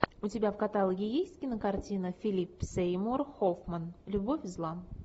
у тебя в каталоге есть кинокартина филип сеймур хоффман любовь зла